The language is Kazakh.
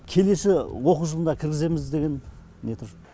келесі оқу жылына кіргіземіз деген не тұр